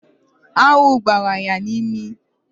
Aṅụ gbara ya n'imi